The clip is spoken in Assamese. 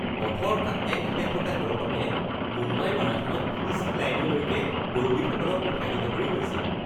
পথৰ কাষে কাষে থকা দৰ্শকে মুম্বাই মাৰাথনত ফিনিচিং লাইনলৈকে দৌৰবিদসকলক উৎসাহিত কৰি গৈছিল।